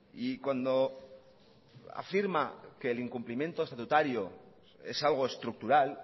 y cuando afirma que el incumplimiento estatutario es algo estructural